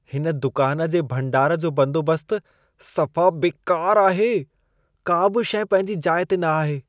हिन दुकान जे भंडार जो बंदोबस्तु सफ़ा बेकार आहे। का बि शइ पंहिंजी जाइ ते न आहे।